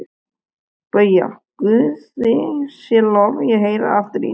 BAUJA: Guði sé lof, ég heyri aftur í þér!